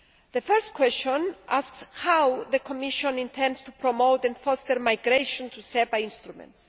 The first question asks how the Commission intends to promote and foster migration to SEPA instruments.